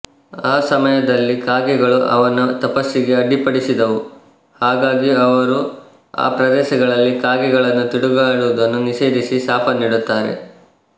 ಆ ಸಮಯದಲ್ಲಿ ಕಾಗೆಗಳು ಅವನ ತಪಸ್ಸಿಗೆ ಅಡ್ಡಿಪಡಿಸಿದವು ಹಾಗಾಗಿ ಅವರು ಆ ಪ್ರದೇಶದಲ್ಲಿ ಕಾಗೆಗಳು ತಿರುಗಾಡುವುದನ್ನು ನಿಷೇಧಿಸಿ ಶಾಪ ನೀಡುತ್ತಾರೆ